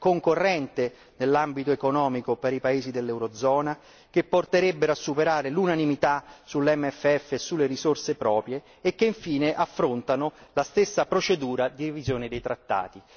concorrente in ambito economico per i paesi dell'eurozona, che porterebbero a superare l'unanimità sull'MFF e sulle risorse proprie e che infine affrontano la stessa procedura di revisione dei trattati.